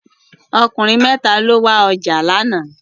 Okùnrin mẹ́tà ló wá ọjà lánàá.